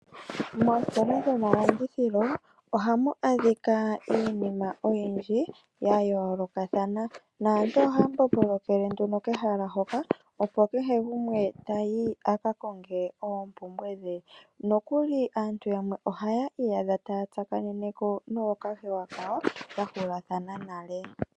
Moositola dhomalandithilo ohamu adhika iinima yomaludhi oyindji ya yoolokathana naantu ohaya mbombolokele nduno kehala hoka kehe gumwe tayi a ka konge oompumbwe dhe nokuli aantu yamwe ohaya iyidha taya tsakanene ko nookahewa kawo ya hulathana nale.